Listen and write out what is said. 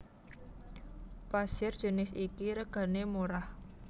Pasir jinis iki regané murah